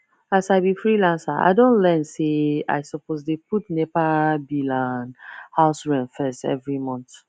as i be freelancer i don learn say i suppose dey put nepa bill and house rent first every month